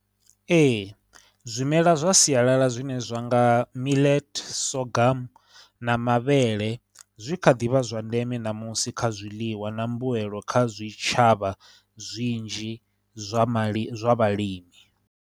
Ee, zwimela zwa sialala zwine zwa nga millet, sorghum, na mavhele, zwi kha ḓivha zwa ndeme ṋamusi kha zwiḽiwa na mbuelo kha zwitshavha zwinzhi zwa mali, zwa vhalimi.